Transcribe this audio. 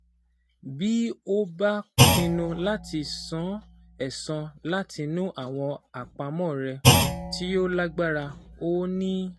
Bí ó bá pinnu láti san ẹ̀san látinú àwọn àpamọ́ rẹ̀ (tí ó lágbára) ó ní